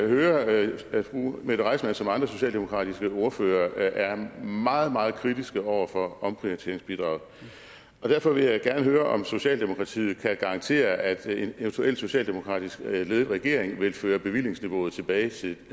høre at fru mette reissmann som andre socialdemokratiske ordførere er meget meget kritisk over for omprioriteringsbidraget og derfor vil jeg gerne høre om socialdemokratiet kan garantere at en eventuel socialdemokratisk ledet regering vil føre bevillingsniveauet tilbage til